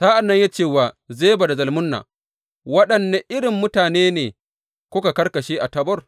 Sa’an nan ya ce wa Zeba da Zalmunna, Waɗanne irin mutane ne kuka karkashe a Tabor.